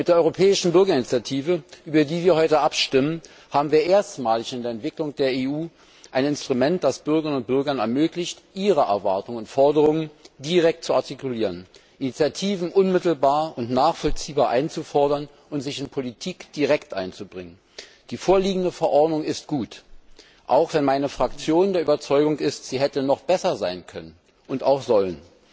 Mit der Europäischen Bürgerinitiative, über die wir heute abstimmen, haben wir erstmalig in der Entwicklung der EU ein Instrument, das es Bürgerinnen und Bürgern ermöglicht, ihre Erwartungen und Forderungen direkt zu artikulieren, Initiativen unmittelbar und nachvollziehbar einzufordern und sich in Politik direkt einzubringen. Die vorliegende Verordnung ist gut, auch wenn meine Fraktion der Überzeugung ist, sie hätte noch besser sein können und auch sollen.